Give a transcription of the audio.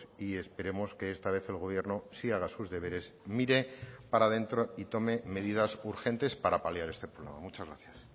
y esperemos que esta vez el gobierno sí haga sus deberes mire para dentro y tome medidas urgentes para paliar este problema muchas gracias